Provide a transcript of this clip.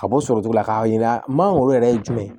Ka bɔ sɔrɔ cogo la k'a jira mangoro yɛrɛ ye jumɛn ye